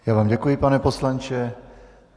Já vám děkuji, pane poslanče.